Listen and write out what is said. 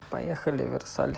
поехали версаль